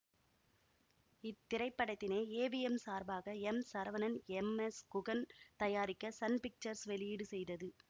இத் திரைப்படத்தினை ஏவிஎம் சார்பாக எம்சரவணன் எம்எஸ்குகன் தயாரிக்க சன் பிக்சர்ஸ் வெளியீடு செய்தது